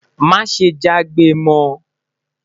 má jagbe mọ